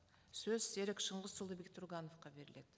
сөз серік шыңғысұлы бектұрғановқа беріледі